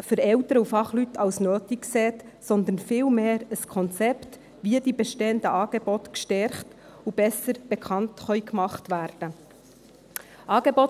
für Eltern und Fachleute als nötig erachtet, sondern viel mehr ein Konzept, wie die bestehenden Angebote gestärkt und besser bekannt gemacht werden können.